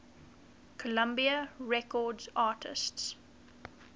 columbia records artists